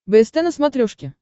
бст на смотрешке